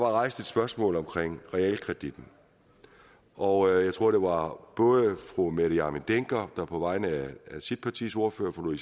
rejst et spørgsmål om realkreditten og jeg tror det var fru mette hjermind dencker der på vegne af sit partis ordfører fru